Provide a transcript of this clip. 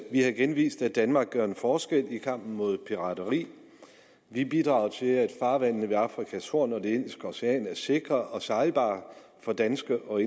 vi har igen vist at danmark gør en forskel i kampen mod pirateri vi bidrager til at farvandene ved afrikas horn og det indiske ocean er sikre og sejlbare for danske og